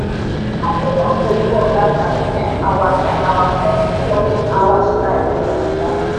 i dey help oyinbo oga sabi um our um our flexible working hour style for naija.